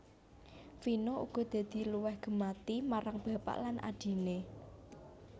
Vino uga dadi luwih gemati marang bapak lan adhiné